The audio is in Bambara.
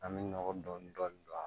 An bɛ nɔgɔ dɔɔni